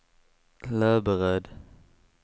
Löberöd